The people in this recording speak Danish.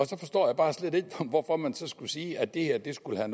så forstår jeg bare slet ikke hvorfor man så skulle sige at det her skulle være